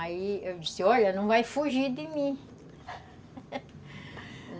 Aí eu disse, olha, não vai fugir de mim